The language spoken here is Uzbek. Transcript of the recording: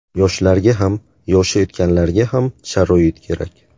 Yoshlarga ham, yoshi o‘tganlarga ham sharoit kerak.